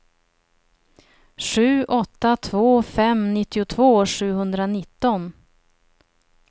sju åtta två fem nittiotvå sjuhundranitton